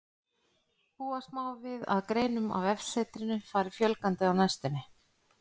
Búast má við að greinum á vefsetrinu fari fjölgandi á næstunni.